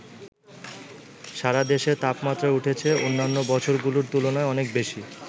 সারা দেশে তাপমাত্রা উঠেছে অন্যান্য বছরগুলোর তুলনায় অনেক বেশি।